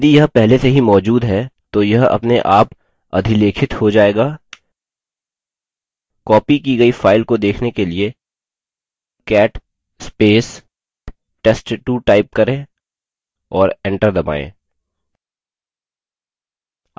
यदि यह पहले से ही मौजूद है तो यह अपने आप अधिलेखित हो जायेगा copied की गई file को देखने के लिए $cat test2 type करें और एंटर दबायें